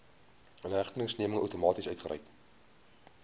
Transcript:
inhegtenisneming outomaties uitgereik